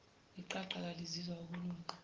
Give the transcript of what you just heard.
iqaqa kalizizwa ukunuka